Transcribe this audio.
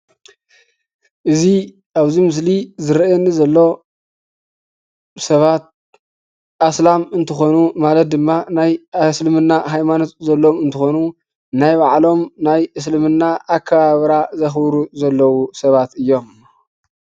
እዚ ኣብዚ ምስሊ ዝርአየኒ ዘሎ ሰባት አስላም እንትኾኑ ማለት ድማ ናይ እስልምና ሃይማኖት ዘለዉ እንትኾኑ ናይ ባዕሎም ናይ እስልምና ኣከባብራ ዘኽብሩ ዘለዉ ሰባት እዮም፡፡